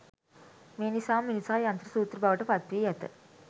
මේ නිසාම මිනිසා යන්ත්‍ර සූත්‍ර බවට පත් වී ඇත.